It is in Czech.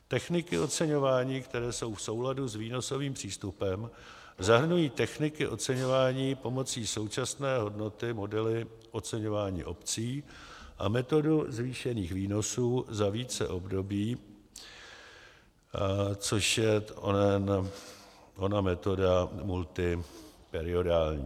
Techniky oceňování, které jsou v souladu s výnosovým přístupem, zahrnují techniky oceňování pomocí současné hodnoty, modely oceňování obcí a metodu zvýšených výnosů za více období, což je ona metoda multiperiodální;